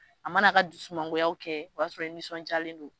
A mana k'a dusumangoya kɛ ,o y'a sɔrɔ i nisɔndiyalen don